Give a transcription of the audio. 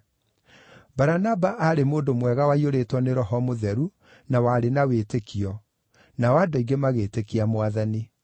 Baranaba aarĩ mũndũ mwega waiyũrĩtwo nĩ Roho Mũtheru na warĩ na wĩtĩkio, nao andũ aingĩ magĩĩtĩkia Mwathani.